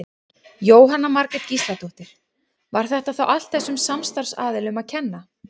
Jóhanna Margrét Gísladóttir: Var þetta þá allt þessum samstarfsaðilum að kenna?